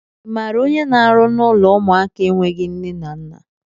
I maara onye na-arụ n'ụlọ ụmụaka enweghị nne na nna?